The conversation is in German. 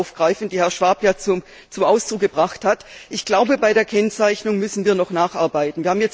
Meyer aufgreifen, die Herr Schwab zum Ausdruck gebracht hat. Ich glaube, bei der Kennzeichnung müssen wir noch nacharbeiten.